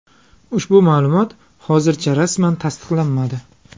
Ushbu ma’lumot hozircha rasman tasdiqlanmadi.